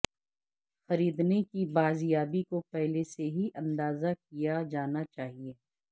خریدنے کی بازیابی کو پہلے سے ہی اندازہ کیا جانا چاہئے